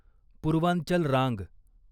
पूर्वांचल रांग